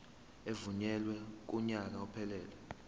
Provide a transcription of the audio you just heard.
evunyelwe kunyaka ophelele